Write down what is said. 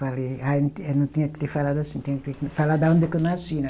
Falei, ah eu, eu não tinha que ter falado assim, tinha que ter falado aonde é que eu nasci, né?